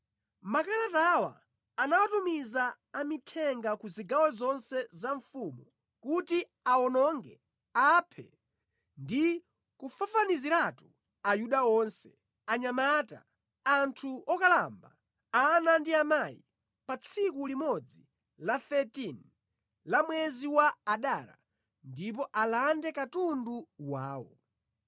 Makalatawa anawatumiza amithenga ku zigawo zonse za mfumu kuti awononge, aphe ndi kufafaniziratu a Yuda onse, anyamata, anthu okalamba, ana ndi amayi, pa tsiku limodzi la 13 la mwezi wa Adara ndipo alande katundu wawo.